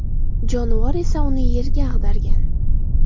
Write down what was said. Jonivor esa uni yerga ag‘dargan.